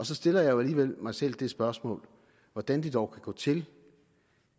så stiller jeg jo alligevel mig selv det spørgsmål hvordan det dog kan gå til